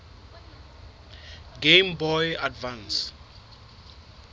game boy advance